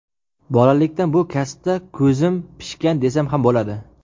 Bolalikdan bu kasbda ko‘zim pishgan desam ham bo‘ladi.